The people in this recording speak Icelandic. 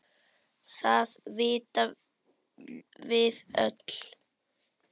Það vitum við öll.